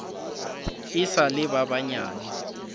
e sa le ba banyane